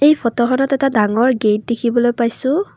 এই ফটোখনত এটা ডাঙৰ গেট দেখিবলৈ পাইছোঁ।